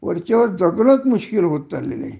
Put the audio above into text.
वरच्यावर जगणच मुश्कील होत चालले आहे